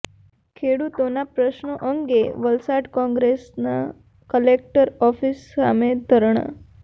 ખેડૂતોના પ્રશ્નો અંગે વલસાડ કોંગ્રેસના કલેક્ટર ઓફિસ સામે ધરણા